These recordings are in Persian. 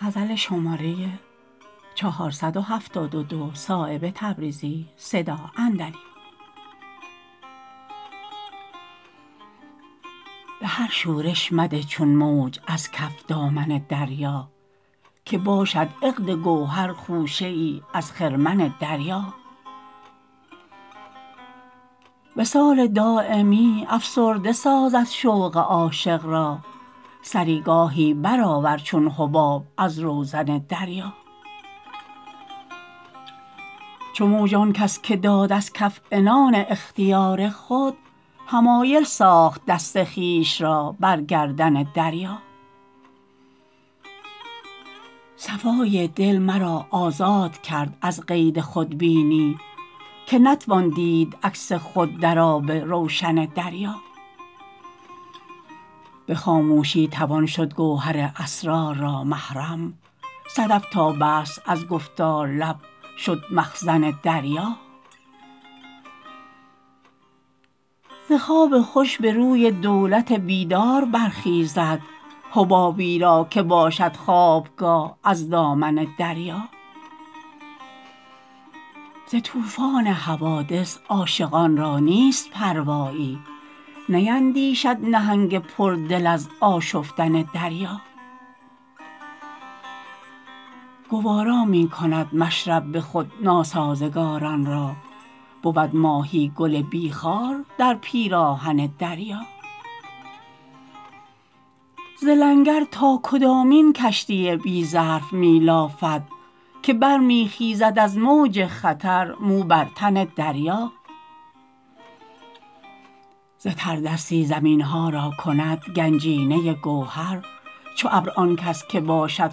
به هر شورش مده چون موج از کف دامن دریا که باشد عقد گوهر خوشه ای از خرمن دریا وصال دایمی افسرده سازد شوق عاشق را سری گاهی بر آور چون حباب از روزن دریا چو موج آن کس که داد از کف عنان اختیار خود حمایل ساخت دست خویش را بر گردن دریا صفای دل مرا آزاد کرد از قید خودبینی که نتوان دید عکس خود در آب روشن دریا به خاموشی توان شد گوهر اسرار را محرم صدف تابست از گفتار لب شد مخزن دریا ز خواب خوش به روی دولت بیدار برخیزد حبابی را که باشد خوابگاه از دامن دریا ز طوفان حوادث عاشقان را نیست پروایی نیندیشد نهنگ پر دل از آشفتن دریا گوارا می کند مشرب به خود ناسازگاران را بود ماهی گل بی خار در پیراهن دریا ز لنگر تا کدامین کشتی بی ظرف می لافد که برمی خیزد از موج خطر مو بر تن دریا ز تردستی زمین ها را کند گنجینه گوهر چو ابر آن کس که باشد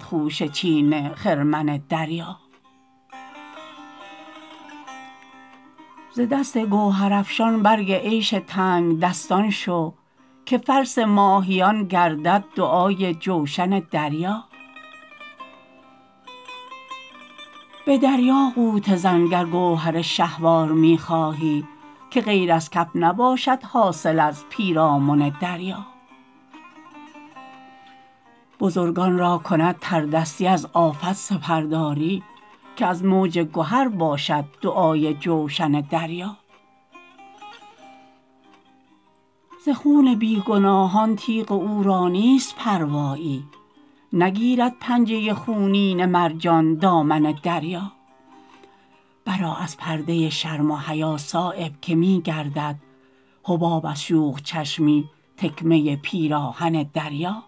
خوشه چین خرمن دریا ز دست گوهرافشان برگ عیش تنگدستان شو که فلس ماهیان گردد دعای جوشن دریا به دریا غوطه زن گر گوهر شهوار می خواهی که غیر از کف نباشد حاصل از پیرامن دریا بزرگان را کند تردستی از آفت سپرداری که از موج گهر باشد دعای جوشن دریا ز خون بی گناهان تیغ او را نیست پروایی نگیرد پنجه خونین مرجان دامن دریا برآ از پرده شرم و حیا صایب که می گردد حباب از شوخ چشمی تکمه پیراهن دریا